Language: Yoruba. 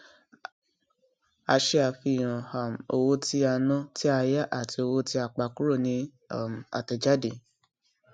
a ṣe àfihàn um owó tí a ná tí a yá àti owó tí a pa kúrò ní um àtẹjáde